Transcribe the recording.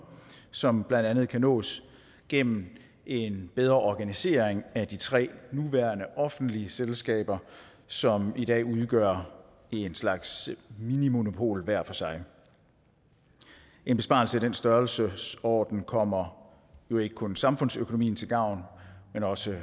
som blandt andet kan nås gennem en bedre organisering af de tre nuværende offentlige selskaber som i dag udgør en slags minimonopol hver for sig en besparelse i den størrelsesorden kommer jo ikke kun samfundsøkonomien til gavn men også